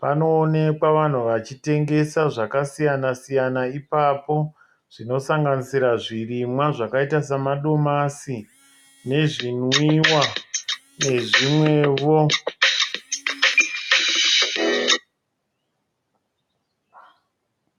Panoonekwa vanhu vachitengesa zvakasiyana siyana ipapo zvinosanganisira zvirimwa zvakaita samadomasi nezvinwiwa nezvimwewo.